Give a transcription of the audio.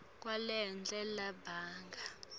kwalelo nalelo banga